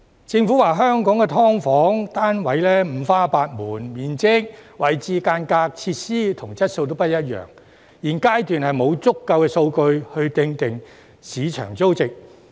政府表示香港的"劏房"單位五花八門，面積、位置、間隔、設施和質素都不一樣，現階段沒有足夠數據訂定市場租值。